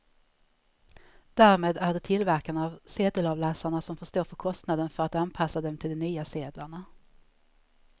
Därmed är det tillverkarna av sedelavläsarna som får stå för kostnaden för att anpassa dem till de nya sedlarna.